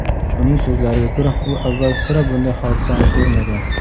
Uning so‘zlariga ko‘ra, u avval sira bunday hodisani ko‘rmagan.